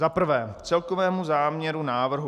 Za prvé k celkovému záměru návrhu.